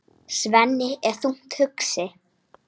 Svenni er þungt hugsi.